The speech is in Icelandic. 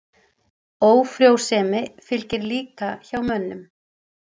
Ófrjósemi fylgir líka hjá mönnum.